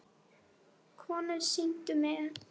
Konur signdu sig.